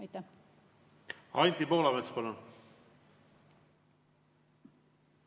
Anti Poolamets, palun!